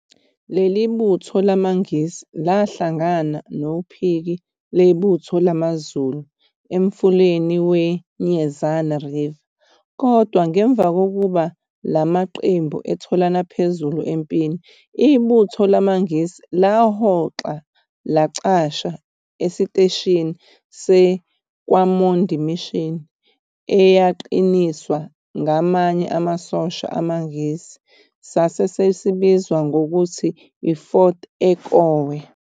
Leli butho lamaNgisi, lahlangana nophiki lebutho lamaZulu emfuleni we-Nyezane River, kodwa ngemuva kokuba la maqembu etholane phezulu empini, ibutho lamaNgisi lahoxa lacasha esiteshini se-KwaMondi Mission eyaqiniswa ngamanye amasosha amaNgisi, sasesibizwa ngokuthi yi-Fort Ekowe.